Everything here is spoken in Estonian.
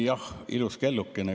Jah, ilus kellukene.